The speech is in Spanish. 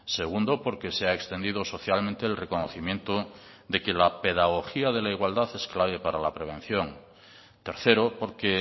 segundo porque se ha extendido socialmente el reconocimiento de que la pedagogía de la igualdad es clave para la prevención tercero porque